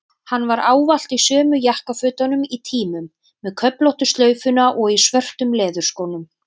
Hann var ávallt í sömu jakkafötunum í tímum, með köflóttu slaufuna og í svörtu leðurskónum.